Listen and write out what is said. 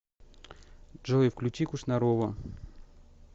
джой включи кушнарова